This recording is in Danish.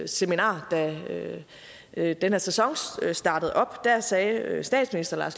seminar da den her sæson startede op der sagde statsministeren